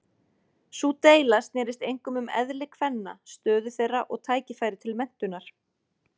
Sú deila snerist einkum um eðli kvenna, stöðu þeirra og tækifæri til menntunar.